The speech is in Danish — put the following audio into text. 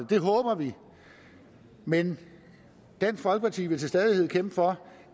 det håber vi men dansk folkeparti vil til stadighed kæmpe for